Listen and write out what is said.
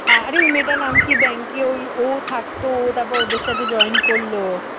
আরে মেয়েটার নাম কি ব্যাংকে ওই ও থাকতো ও তারপর ওদের সাথে join করলো